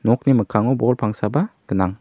nokni mikkango bol pangsaba gnang.